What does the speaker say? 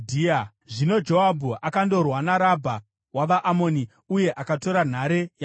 Zvino Joabhu akandorwa naRabha wavaAmoni uye akatora nhare yamambo.